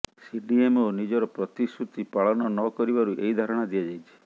CDMO ନିଜର ପ୍ରତିଶ୍ରୁତି ପାଳନ ନକରିବାରୁ ଏହି ଧାରଣା ଦିଆଯାଇଛି